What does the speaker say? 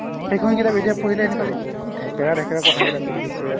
সেইখন কিতাপ এতিয়া পঢ়িলে এনেকুৱা লাগিছে কি ঢেঁকেৰা ঢেকেৰা কথা বিলাক লিখিছে